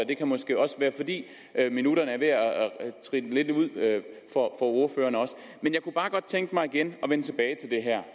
det kan måske også være fordi minutterne er ved at rinde lidt ud for ordføreren men jeg kunne bare godt tænke mig igen at vende tilbage til det her